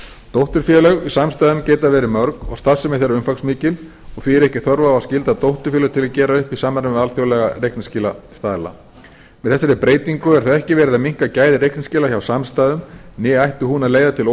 dótturfélög í samstæðum geta verið mörg og starfsemi þeirra umfangsmikil og því er ekki þörf á að skylda dótturfélag til að gera upp í samvinnu við alþjóðlega reikningsskilastaðla með þessari breytingu er ekki verið að minnka gæði reikningsskila hjá samstæðum né ætti hún að leiða til